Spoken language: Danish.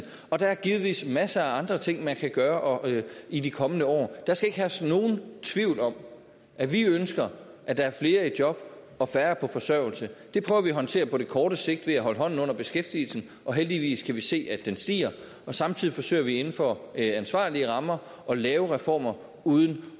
og der er givetvis masser af andre ting man kan gøre i de kommende år der skal ikke herske nogen tvivl om at vi ønsker at der er flere i job og færre på forsørgelse det prøver vi at håndtere på den korte sigt ved at holde hånden under beskæftigelsen og heldigvis kan vi se at den stiger og samtidig forsøger vi inden for ansvarlige rammer at lave reformer uden